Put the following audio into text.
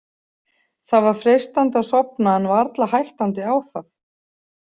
Það var freistandi að sofna en varla hættandi á það.